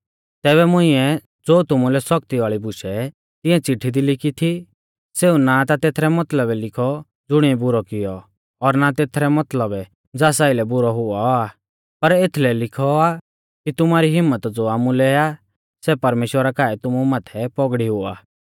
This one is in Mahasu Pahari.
तैबै मुंइऐ ज़ो तुमुलै सौख्ती वाल़ी बुशै तिऐं चिट्ठी दी लिखी थी सेऊ ना ता तेथरै मतलबै लिखौ ज़ुणिऐ बुरौ कियौ और ना ता तेथरै मतलबै ज़ास आइलै बुरौ हुऔ आ पर एथलै लिखौ आ कि तुमारी हिम्मत ज़ो आमुलै आ सै परमेश्‍वरा काऐ तुमु माथै पौगड़ी हुआ